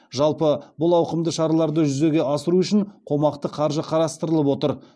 жалпы бұл ауқымды шараларды жүзеге асыру үшін қомақты қаржы қарастырылып отыр